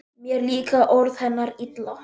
Mér líka orð hennar illa: